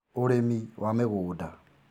ũrĩmi wa mĩgũnda